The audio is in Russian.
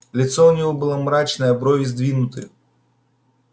лицо у него было мрачное брови сдвинуты